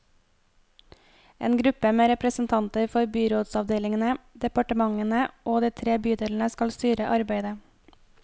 En gruppe med representanter for byrådsavdelingene, departementene og de tre bydelene skal styre arbeidet.